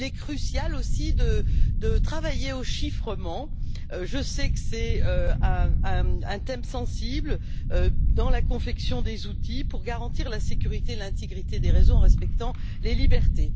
Il est crucial aussi de travailler au chiffrement je sais que c'est un thème sensible dans la confection des outils pour garantir la sécurité et l'intégrité des réseaux en respectant les libertés.